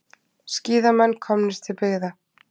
Skíðamenn komnir til byggða